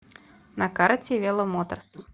на карте веломоторс